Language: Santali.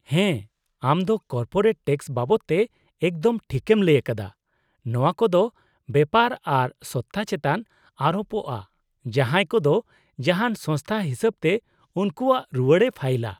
-ᱦᱮᱸ, ᱟᱢ ᱫᱚ ᱠᱚᱨᱯᱳᱨᱮᱴ ᱴᱮᱠᱥ ᱵᱟᱵᱚᱫ ᱛᱮ ᱮᱠᱫᱚᱢ ᱴᱷᱤᱠᱮᱢ ᱞᱟᱹᱭᱟᱠᱟᱫᱟ; ᱱᱚᱶᱟ ᱠᱚᱫᱚ ᱵᱮᱯᱟᱨ ᱟᱨ ᱥᱚᱛᱛᱟ ᱪᱮᱛᱟᱱ ᱟᱨᱳᱯᱚᱜᱼᱟ ᱡᱟᱦᱟᱸᱭ ᱠᱚᱫᱚ ᱡᱟᱦᱟᱱ ᱥᱚᱝᱥᱛᱷᱟ ᱦᱤᱥᱟᱹᱵᱛᱮ ᱩᱝᱠᱩᱣᱟᱜ ᱨᱩᱣᱟᱹᱲᱮ ᱯᱷᱟᱭᱤᱞᱼᱟ ᱾